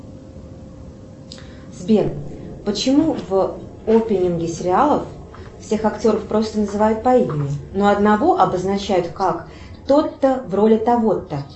сбер почему в опенинге сериалов всех актеров просто называют по имени но одного обозначают как тот то в роли того то